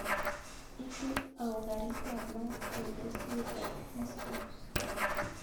Itu au karit ap maat ketesyet ap kings cross